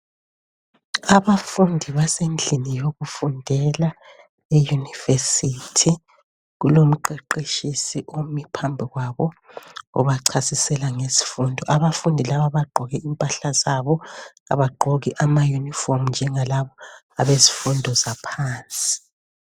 Abafundi basendlini yokufundela eyunivesithi, kulomqeqetshisi omi phambi kwabo obachasisela ngezifundo, abafundi laba bagqoke impahla zabo, abagqoki amayunifomu njengalaba abezifundo zaphansi.